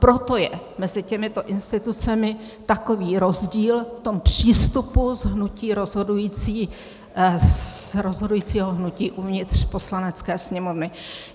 Proto je mezi těmito institucemi takový rozdíl v tom přístupu z rozhodujícího hnutí uvnitř Poslanecké sněmovny.